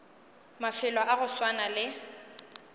mafelo a go swana le